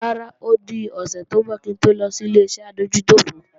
Rárá, ó dọ̀sẹ̀ tí ńbọ̀ kí ń to lọ sí Ileṣẹ́ adójútòfò